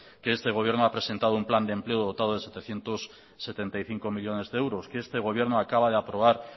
que este gobierno ha presentado un plan de empleo dotado de setecientos setenta y cinco millónes de euros que este gobierno acaba de aprobar